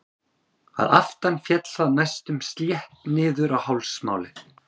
Að aftan féll það næstum slétt niður á hálsmálið.